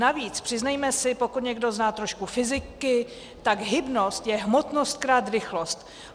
Navíc, přiznejme si, pokud někdo zná trošku fyziky, tak hybnost je hmotnost krát rychlost.